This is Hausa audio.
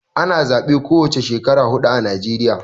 Ana zabe ko wane Shekara hudu ã Najeriya.